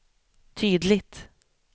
tydligt